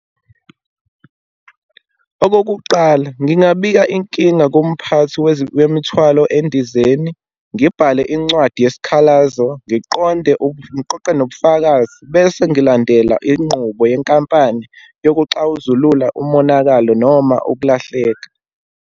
Okokuqala, ngingabika inkinga kumphathi wemithwalo endizeni, ngibhale incwadi yesikhalazo, ngiqonde, ngoqoqe nobufakazi, bese ngilandela inqubo yenkampani yokuxazulula umonakalo noma ukulahleka.